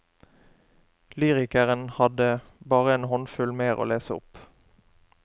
Lyrikeren hadde bare en håndfull mer å lese opp.